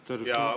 Tere!